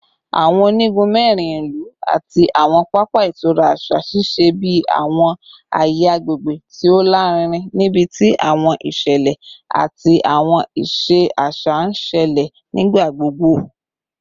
Awọn onigun mẹrin ilu ati awọn papa itura aṣa ṣiṣẹ bi awọn aye agbegbe ti o larinrin nibiti awọn iṣẹlẹ ati awọn iṣẹ aṣa n ṣẹlẹ nigbagbogbo